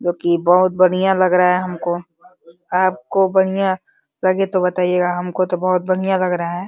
जोकि बहुत बढ़िया लग रहा है हमको। आपको बढ़िया लगे तो बताएगा हमको तो बहुत बढ़िया लग रहा है।